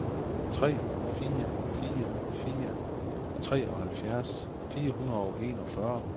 tre fire fire fire treoghalvfjerds fire hundrede og enogfyrre